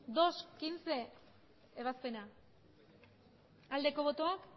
aldeko botoak